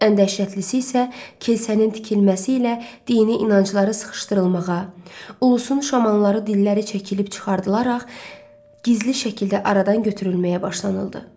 Ən dəhşətlisi isə keşənin tikilməsi ilə dini inancları sıxışdırılmağa, ulusun şamanları dilləri çəkilib çıxardılaraq gizli şəkildə aradan götürülməyə başlanıldı.